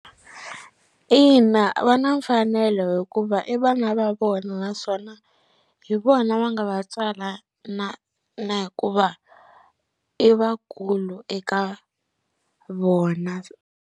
Ina va na mfanelo hikuva i vana va vona naswona hi vona va nga va tswala na na hikuva i vakulu eka vona.